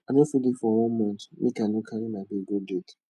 i no fit dey for one mont make i no carry my babe go date